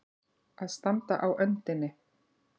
Að standa á öndinni